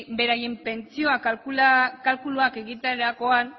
beraien pentsioa kalkuluak egiterakoan